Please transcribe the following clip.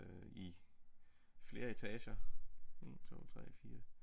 Øh i flere etager 1 2 3 4